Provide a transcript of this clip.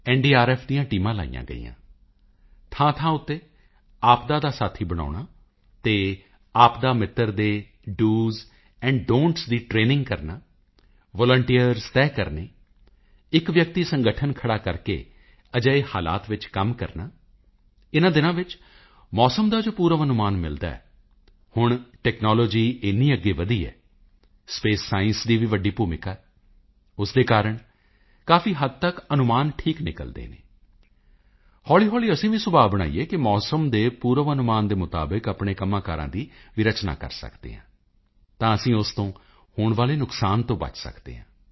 NDRF ਦੀਆਂ ਟੀਮਾਂ ਲਗਾਈਆਂ ਗਈਆਂ ਥਾਂਥਾਂ ਉੱਤੇ ਆਪਦਾ ਦਾ ਸਾਥੀ ਬਣਾਉਣਾ ਅਤੇ ਆਪਦਾ ਮਿੱਤਰ ਦੇ doਸ donਟੀਐੱਸ ਦੀ ਟਰੇਨਿੰਗ ਕਰਨਾ ਵਾਲੰਟੀਅਰਜ਼ ਤੈਅ ਕਰਨੇ ਇੱਕ ਵਿਅਕਤੀ ਸੰਗਠਨ ਖੜ੍ਹਾ ਕਰਕੇ ਅਜਿਹੇ ਹਾਲਾਤ ਵਿੱਚ ਕੰਮ ਕਰਨਾ ਇਨ੍ਹਾਂ ਦਿਨਾਂ ਵਿੱਚ ਮੌਸਮ ਦਾ ਜੋ ਪੂਰਵ ਅਨੁਮਾਨ ਮਿਲਦਾ ਹੈ ਹੁਣ ਟੈਕਨਾਲੋਜੀ ਇੰਨੀ ਅੱਗੇ ਵਧੀ ਹੈ ਸਪੇਸ ਸਾਇੰਸ ਦੀ ਵੀ ਵੱਡੀ ਭੂਮਿਕਾ ਹੈ ਉਸ ਦੇ ਕਾਰਣ ਕਾਫੀ ਹੱਦ ਤੱਕ ਅਨੁਮਾਨ ਠੀਕ ਨਿਕਲਦੇ ਹਨ ਹੌਲੀ ਹੌਲੀ ਅਸੀਂ ਵੀ ਸੁਭਾਅ ਬਣਾਈਏ ਕਿ ਮੌਸਮ ਦੇ ਪੂਰਵ ਅਨੁਮਾਨ ਮੁਤਾਬਕ ਆਪਣੇ ਕੰਮਾਂਕਾਰਾਂ ਦੀ ਵੀ ਰਚਨਾ ਕਰ ਸਕਦੇ ਹਾਂ ਤਾਂ ਅਸੀਂ ਉਸ ਤੋਂ ਹੋਣ ਵਾਲੇ ਨੁਕਸਾਨ ਤੋਂ ਬਚ ਸਕਦੇ ਹਾਂ